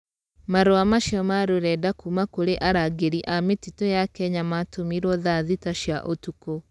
Marũa macio ma rũrenda kuma kũrĩ arangĩri a mĩtitũ ya Kenya matũmirwo tha thita cia ũtukũ.